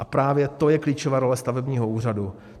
A právě to je klíčová role stavebního úřadu.